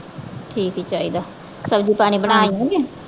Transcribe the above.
ਠੀਕ ਈ ਚਾਹੀਦਾ। ਸਬਜ਼ੀ ਪਾਣੀ ਬਣਾ ਲਈਏ।